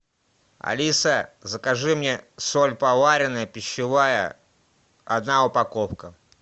алиса закажи мне соль поваренная пищевая одна упаковка